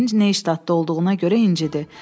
Emin Neyştadtda olduğuna görə incidi.